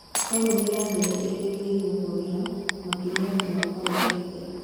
Economy ya thĩ nĩ irĩrĩgĩrĩruo kwagĩra makĩria mwaka ũkĩti